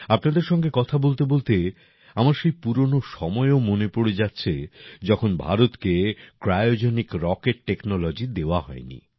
আপনাদের সঙ্গে কথা বলতেবলতে আমার সেই পুরনো সময়ও মনে পড়ে যাচ্ছে যখন ভারতকে ক্রায়োজেনিক রকেট টেকনোলজি দেওয়া হয়নি